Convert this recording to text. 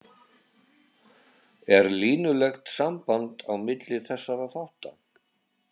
Er línulegt samband á milli þessara þátta?